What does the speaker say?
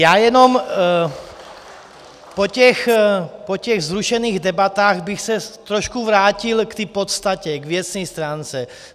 Já jenom po těch vzrušených debatách bych se trošku vrátil k té podstatě, k věcné stránce.